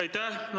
Aitäh!